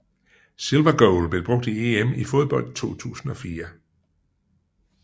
Silver goal blev brugt i EM i fodbold 2004